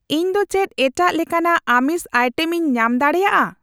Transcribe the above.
ᱤᱧ ᱫᱚ ᱪᱮᱫ ᱮᱴᱟᱜ ᱞᱮᱠᱟᱱᱟᱜ ᱟᱹᱢᱤᱥ ᱟᱭᱴᱮᱢ ᱠᱚ ᱟᱭᱴᱮᱢᱤᱧ ᱧᱟᱢ ᱫᱟᱲᱮᱭᱟᱜᱼᱟ ?